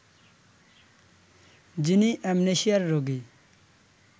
যিনি অ্যামনেশিয়ার রোগী